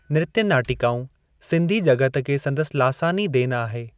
नृत्य नाटिकाऊं सिंधी जॻत खे संदसि लासानी देन आहे।